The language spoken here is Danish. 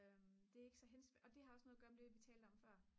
det er ikke så og det har også noget at gøre med det vi talte om før